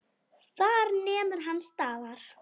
Þar nemur hann staðar.